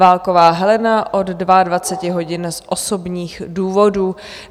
Válková Helena od 22.00 hodin z osobních důvodů.